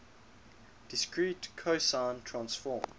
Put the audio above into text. discrete cosine transform